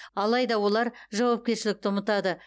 алайда олар жауапкершілікті ұмытады